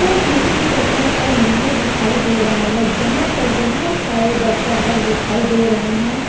यहाँ किसी शहर का मंदिर दिखाए दे रहा है जहाँ पर बोहत सारे दर्शकगण दिखाए दे रहे हैं।